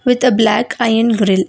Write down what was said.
with the black iron grill.